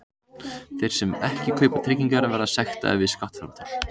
Þeir sem ekki kaupa tryggingar verða sektaðir við skattframtal.